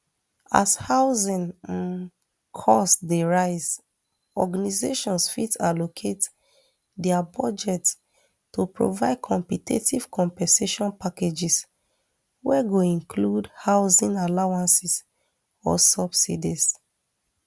as housing um cost dey rise organizations fit allocate dia budgets to provide competitive compensation packages wey go include housing allowances or subsidies